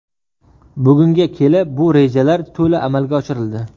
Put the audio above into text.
Bugunga kelib bu rejalar to‘la amalga oshirildi.